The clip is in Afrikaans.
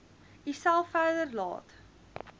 uself verder laat